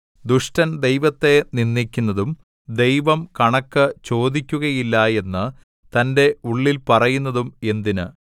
ദുഷ്ടൻ ദൈവത്തെ നിന്ദിക്കുന്നതും ദൈവം കണക്ക് ചോദിക്കുകയില്ല എന്ന് തന്റെ ഉള്ളിൽ പറയുന്നതും എന്തിന്